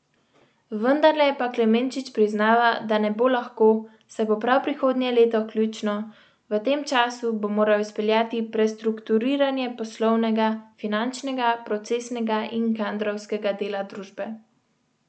Vendarle pa Klemenčič priznava, da ne bo lahko, saj bo prav prihodnje leto ključno, v tem času bo moral izpeljati prestrukturiranje poslovnega, finančnega, procesnega in kadrovskega dela družbe.